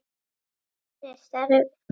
Hver er starf þitt?